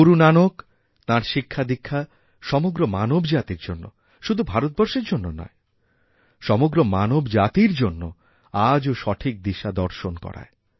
গুরু নানক তাঁর শিক্ষাদীক্ষা সমগ্র মানবজাতির জন্য শুধুমাত্র ভারতবর্ষের জন্যনয় সমগ্র মানবজাতির জন্য আজও সঠিক দিশা দর্শন করায়